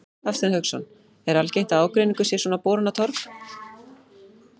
Hafsteinn Hauksson: Er algengt að ágreiningur sé svona borinn á torg?